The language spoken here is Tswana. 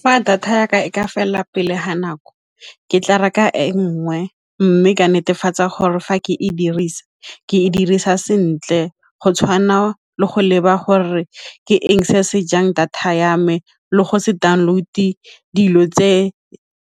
Fa data ya ka e ka fela pele ga nako ke tla reka e nngwe mme ka netefatsa gore fa ke e dirisa ke e dirisa sentle go tshwana le go leba gore ke eng se a sejang data ya me le go se download-e dilo tse